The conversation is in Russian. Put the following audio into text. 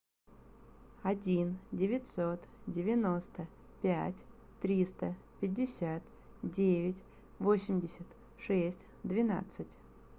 один девятьсот девяносто пять триста пятьдесят девять восемьдесят шесть двенадцать